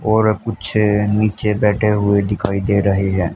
और कुछ नीचे बैठे हुए दिखाई दे रहे हैं।